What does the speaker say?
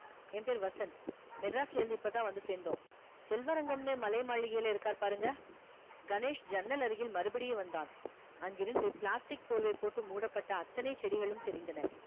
என் பேரு வசந்த் மெட்ராஸ்ல இருந்து இப்பதான் வந்து சேர்ந்தோம் செல்வரங்கம்னு மலை மாளிகையில இருக்காரு பாருங்க கணேஷ் ஜன்னல் அருகில் மறுபடியும் வந்தான் அங்கிருந்து plastic பொருளை போட்டு மூடப்பட்ட அத்தனை செடிகளும் தெரிந்தன